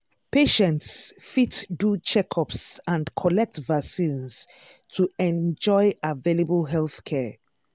patients fit do checkups and collect vaccines to enjoy available healthcare.